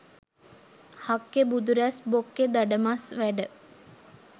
හක්කෙ බුදුරුස් බොක්කෙ දඩමස්" වැඩ